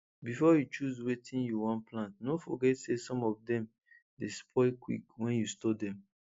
before you choose wetin you wan plant no forget say some of dem dey spoil quick wen you store dem